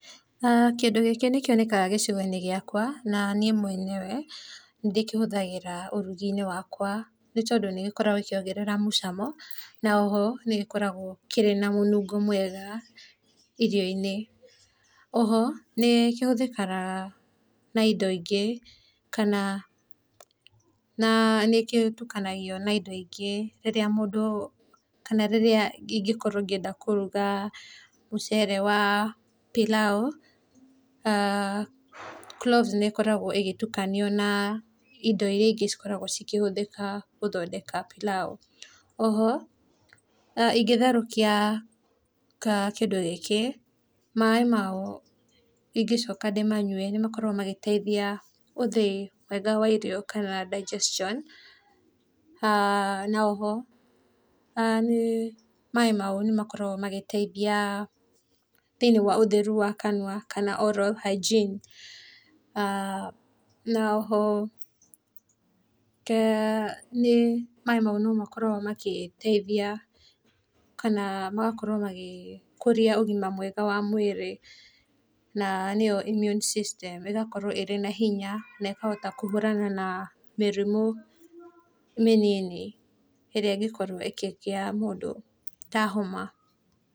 Kĩndũ gĩkĩ nĩkĩonekaga gĩcigo gĩakwa na niĩ mwenyewe nĩndĩkĩhũthagĩra ũrugi-inĩ wakwa, nĩ tondũ nĩgĩkoragwo gĩkĩongerera mũcamo, na oho nĩgĩkoragwo kĩrĩ na mũnungo mwega irio-inĩ. Oho nĩkĩhũthĩkaga na indo ingĩ kana nĩkĩtukanagio na indo ingĩ rĩrĩa mũndũ, kana rĩrĩa ingĩkorwo ngĩenda kũruga mũcere wa pilau, cloves nĩkoragwo ĩgĩtukanio na indo iria ingĩ cikoragwo cikĩhũthĩka gũthondeka pilau. Oho ingĩtherũkia kĩndũ gĩkĩ, maĩ mayo ingĩcoka ndĩmanyue nĩmakoragwo magĩteithia ũthĩi mwega wa irio kana digestion, na oho nĩ maĩ mau nĩmakoragwo magĩteithia thĩiniĩ wa ũtheru wa kanua kana oral hygiene, na oho maĩ nĩ mau nĩmakoragwo magĩteithia kana magakorwo magĩkũria ũgima mwega wa mwĩrĩ na nĩyo immune system, ĩgakorwo ĩrĩ na hinya na ĩkahota kũhũrana na mĩrimũ mĩnini ĩrĩa ĩngĩkorwo ĩkĩgĩa mũndũ, ta homa.